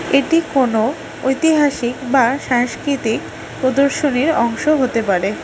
এটি কোন ঐতিহাসিক বা সাংস্কৃতিক প্রদর্শনীর অংশ হতে পারে।